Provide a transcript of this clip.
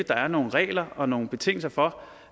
der er nogle regler og nogle betingelser for